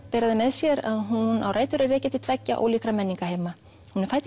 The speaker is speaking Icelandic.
bera með sér að hún á rætur að rekja til tveggja ólíkra menningarheima hún er fædd